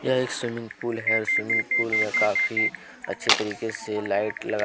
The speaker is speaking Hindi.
यह एक स्विमिंग पूल है स्विमिंग पूल मे काफी अच्छे तरीके से लाइट लगा--